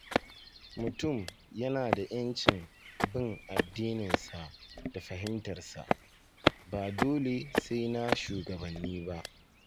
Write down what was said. Mutum yana da ‘yancin bin addininsa da fahimtarsa, ba dole sai na shugabanni ba.